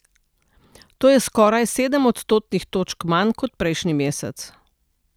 To je skoraj sedem odstotnih točk manj kot prejšnji mesec.